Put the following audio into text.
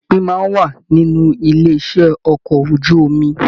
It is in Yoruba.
Ìpín máa n wà nínú ilé iṣẹ okọ̀ ojú omi.